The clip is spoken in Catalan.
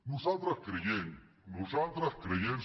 nosaltres creiem nosaltres creiem